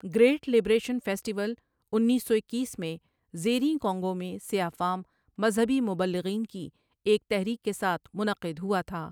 great liberation festival انیس سو اکیس میں زیریں کانگو میں سیاہ فام مذہبی مبلغین کی ایک تحریک کے ساتھ منعقد ہوا تھا